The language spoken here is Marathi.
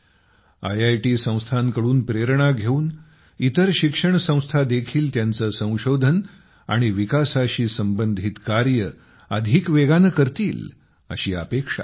आयआयटी संस्थांकडून प्रेरणा घेऊन इतर शिक्षण संस्था देखील त्यांची संशोधन आणि विकासाशी संबंधित कार्ये अधिक वेगाने करतील अशी अपेक्षा आहे